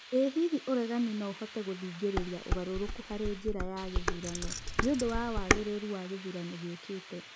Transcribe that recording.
O-hihi ũregani no-ũhote gũthing'ĩrĩria ũgarũrũku harĩ njĩra ya gĩthurano nĩũndũ wa wagĩrĩru wa gĩthurano gĩũkĩte ?